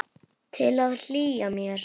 Til að hlýja mér.